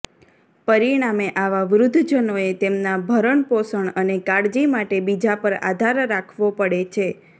પરિણામે આવાં વૃદ્ધજનોએ તેમનાં ભરણપોષણ અને કાળજી માટે બીજાં પર આધાર રાખવો પડે છે